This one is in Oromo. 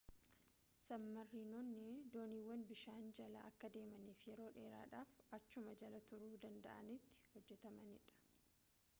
sabmariinonni dooniiwwan bishaan jala akka deemaniifi yeroo dheeraadhaaf achuma jala turuu danda'anitti hojjetamanidha